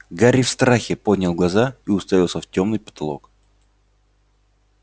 гарри в страхе поднял глаза и уставился в тёмный потолок